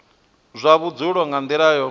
zwa vhudzulo nga nila yo